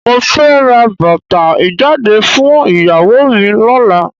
Mo fẹ́ ra bàtà ìjáde fún ìyàwó mi lọ́la.